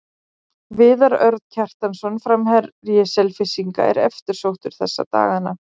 Viðar Örn Kjartansson, framherji Selfyssinga, er eftirsóttur þessa dagana.